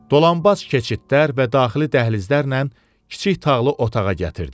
Dolambac keçidlər və daxili dəhlizlərlə kiçik tağlı otağa gətirdi.